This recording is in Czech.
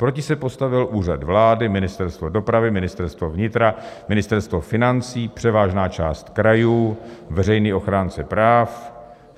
Proti se postavil Úřad vlády, Ministerstvo dopravy, Ministerstvo vnitra, Ministerstvo financí, převážná část krajů, veřejný ochránce práv.